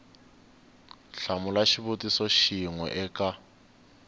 hlamula xivutiso xin we eka